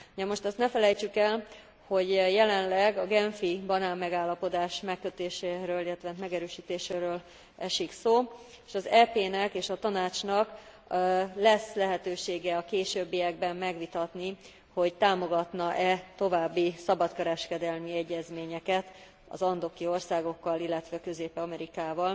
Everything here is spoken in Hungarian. Namost azt ne felejtsük el, hogy jelenleg a genfi banánmegállapodás megkötéséről, illetve megerősítéséről esik szó, s az EP nek és a Tanácsnak lesz lehetősége a későbbiekben megvitatni, hogy támogatna e további szabadkereskedelmi egyezményeket az andoki országokkal, illetve Közép Amerikával,